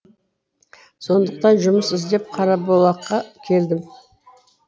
сондықтан жұмыс іздеп қарабұлаққа келдім